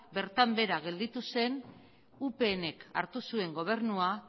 bertan behera gelditu zen upnk hartu zuen gobernua